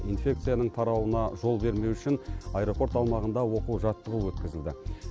инфекцияның тарауына жол бермеу үшін аэропорт аумағында оқу жаттығу өткізілді